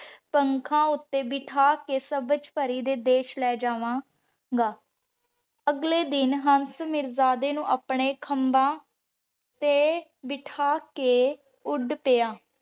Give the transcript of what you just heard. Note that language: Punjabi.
ਪੰਖਾਂ ਊਟੀ ਬੈਠਾ ਕੇ ਸਬਝ ਪਾਰੀ ਦੇ ਦੇਸ਼ ਲੇ ਜਵਾਨ ਗਾ ਅਗਲੀ ਦਿਨ ਹੰਸ ਮਿਰ੍ਜ਼ਾਡੀ ਨੂ ਅਪਨੇ ਖੰਬਾਂ ਤੇ ਬਿਠਾ ਕੇ ਉੜ ਪਾਯਾ